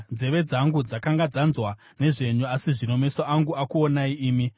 Nzeve dzangu dzakanga dzanzwa nezvenyu, asi zvino meso angu akuonai imi.